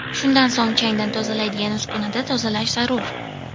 Shundan so‘ng changdan tozalaydigan uskunada tozalash zarur.